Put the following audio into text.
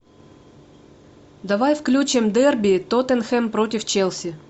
давай включим дерби тоттенхэм против челси